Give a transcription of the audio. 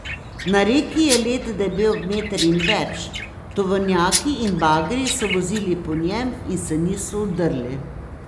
Na reki je led debel meter in več, tovornjaki in bagri so vozili po njem in se niso udrli.